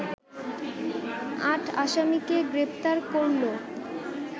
আট আসামিকে গ্রেপ্তার করলো